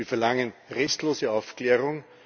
Wir verlangen restlose Aufklärung.